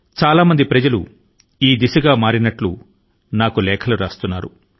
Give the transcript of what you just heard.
చాలా మంది తమ లేఖ ల ద్వారా తాము కూడా ఈ మార్గాన్ని అవలంబించామని తెలిపారు